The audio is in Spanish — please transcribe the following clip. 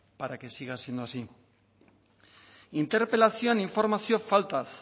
para que siga siendo así interpelazioan informazio faltaz